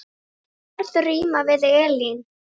Hvaða orð rímar við Elín?